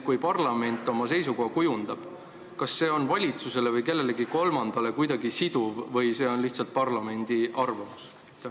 Kui parlament oma seisukoha kujundab, kas see on valitsusele või kellelegi kolmandale kuidagi siduv või on see lihtsalt parlamendi arvamus?